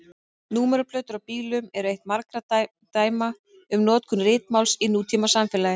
Númeraplötur á bílum eru eitt margra dæma um notkun ritmáls í nútímasamfélagi.